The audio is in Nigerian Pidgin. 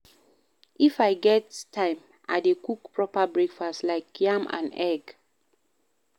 If I get time, I dey cook proper breakfast, like yam and egg.